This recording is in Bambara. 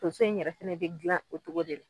Tonso in yɛrɛ fɛnɛ bɛ dilan o togo de la.